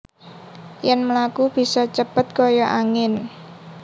Yen mlaku bisa cepet kaya angin